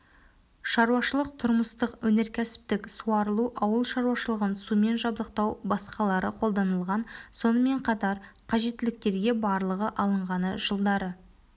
шаруашылық тұрмыстық өнеркәсіптік суарылу ауылшаруашылығын сумен жабдықтау басқалары қолданылған сонымен қатар қажеттіліктерге барлығы алынғаны жылдары